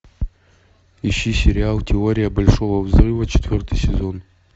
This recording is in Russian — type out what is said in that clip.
ищи сериал теория большого взрыва четвертый сезон